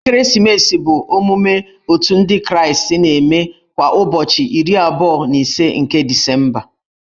Ekeresimesi bụ emume Otù ndị kraịstị na-eme kwa ụbọchị iri abụọ na ise nke Disemba.